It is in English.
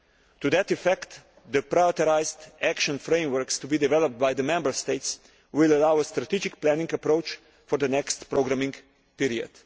To that effect, the prioritised action frameworks to be developed by the Member States will allow a strategic planning approach for the next programming period.